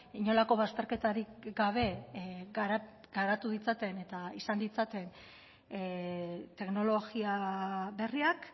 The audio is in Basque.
inolako bazterketarik gabe garatu ditzaten eta izan ditzaten teknologia berriak